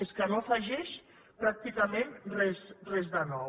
és que no afegeix pràcticament res de nou